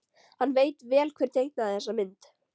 Hann veit vel hver teiknaði þessa mynd.